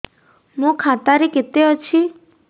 ମୋ ଖାତା ରେ କେତେ ଅଛି